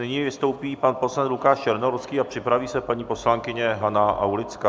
Nyní vystoupí pan poslanec Lukáš Černohorský a připraví se paní poslankyně Hana Aulická.